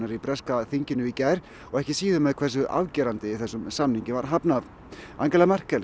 í breska þinginu í gær og ekki síður hversu afgerandi þessum samningi var hafnað Angela Merkel